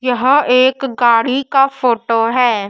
यहां एक गाड़ी का फोटो है।